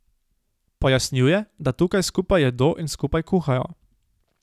Pojasnjuje, da tukaj skupaj jedo in skupaj kuhajo.